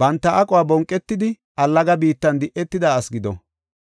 Banta aquwa bonqetidi allaga biittan di7etida asi gido.